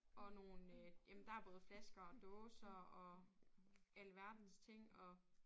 Og nogle øh jamen der både flasker og dåser og alverdens ting og